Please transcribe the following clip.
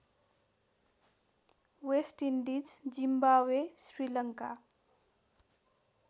West Indies Zimbabwe Sri Lanka